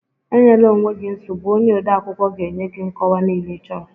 E nyela onwe gị nsogbu, onye odeakwụkwọ ga-enye gị nkọwa niile ịchọrọ